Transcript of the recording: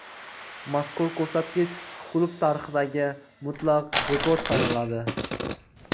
Mazkur ko‘rsatkich klub tarixidagi mutlaq rekord sanaladi.